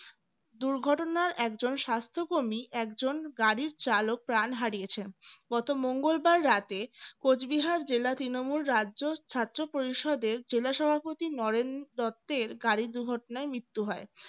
দুর্ঘটনার একজন স্বাস্থ্যকর্মী একজন গাড়ির চালক প্রাণ হারিয়েছেন গত মঙ্গলবার রাতে কোচবিহার জেলা তৃণমূল রাজ্য ছাত্র পরিষদের জেলা সভাপতি নরেন দত্তের গাড়ি দুর্ঘটনায় মৃত্যু হয়